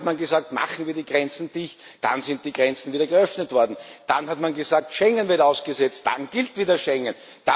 Dann hat man gesagt Machen wir die Grenzen dicht. Dann sind die Grenzen wieder geöffnet worden. Dann hat man gesagt Schengen wird ausgesetzt. Dann gilt wieder Schengen.